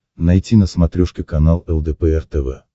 найти на смотрешке канал лдпр тв